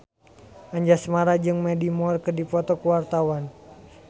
Anjasmara jeung Mandy Moore keur dipoto ku wartawan